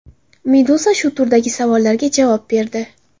Meduza shu turdagi savollarga javob berdi .